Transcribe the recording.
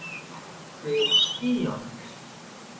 Þau eru í skýjunum.